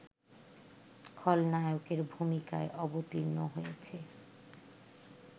খলনায়কের ভূমিকায় অবতীর্ণ হয়েছে